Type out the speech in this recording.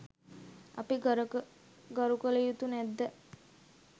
අපි ගරු කළ යුතු නැද්ද?